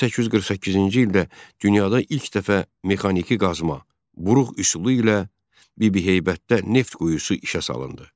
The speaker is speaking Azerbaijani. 1848-ci ildə dünyada ilk dəfə mexaniki qazıma, buruq üsulu ilə Bibiheybətdə neft quyusu işə salındı.